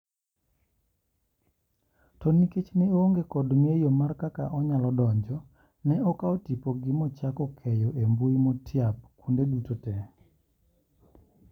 To nikech ne oonge kod ngeyo mar kaka onyalo donjo ,ne okaw tipogi mochako keyo embui motiap kuonde duto te.